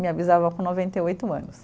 Minha bisavó com noventa e oito anos.